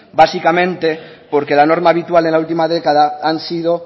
básicamente porque la norma habitual en la última década han sido